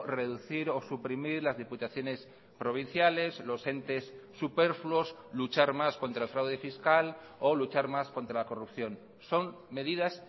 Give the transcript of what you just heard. reducir o suprimir las diputaciones provinciales los entes superfluos luchar más contra el fraude fiscal o luchar más contra la corrupción son medidas